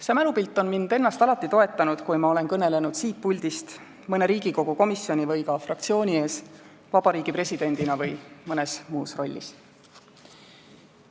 See mälupilt on mind ennast alati toetanud, kui ma olen kõnelenud siit puldist, mõne Riigikogu komisjoni või ka fraktsiooni ees Vabariigi Presidendina või mõnes muus rollis.